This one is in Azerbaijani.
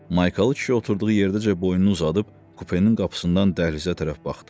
Maykalı kişi oturduğu yerdəcə boynunu uzadıb kupenin qapısından dəhlizə tərəf baxdı.